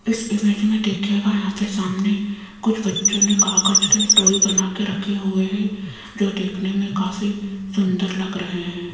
इस इमेज देखिएगा यहां पे सामने कुछ बच्चों ने कागज के टॉय बना के रखे हुए हैं जो देखने में काफी सुंदर लग रहे हैं।